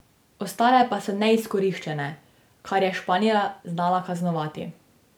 Ostale pa so neizkoriščene, kar je Španija znala kaznovati.